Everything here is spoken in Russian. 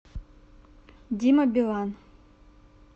дима билан